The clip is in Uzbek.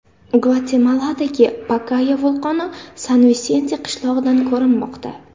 Gvatemaladagi Pakaya vulqoni San-Visente qishlog‘idan ko‘rinmoqda.